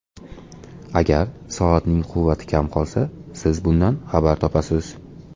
Agar soatning quvvati kam qolsa, siz bundan xabar topasiz!